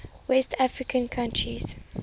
west african countries